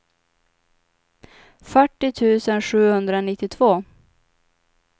fyrtio tusen sjuhundranittiotvå